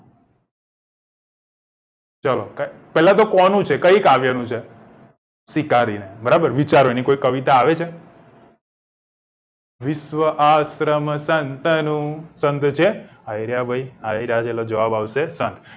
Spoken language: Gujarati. ચલો પેલા તો કોનું છે કઈ કાવ્ય નું છે શિકારીને બરાબર ને વિચાર વાની કોઈ કવિતા આવે છે વિશ્વ આશ્રમ સંતનું સંગ છે અઈર્યા ભઈએટલે જવાબ આવશે સંગ